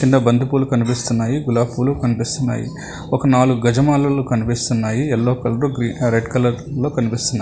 కింద బంతిపూలు కనిపిస్తున్నాయి గులాబ్ పూలు కనిపిస్తున్నాయి ఒక నాలుగు గజమాలు కనిపిస్తున్నాయి ఎల్లో కలరు రెడ్ కలర్లో కనిపిస్తున్నాయి.